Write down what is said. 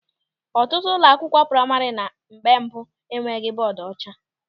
Ọtụtụ ụlọ akwụkwọ praima na mgbe mbụ enweghị bọọdu ọcha.